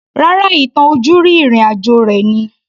Rárá, ìtàn ojúrí ìrìn àjò rẹ̀ ni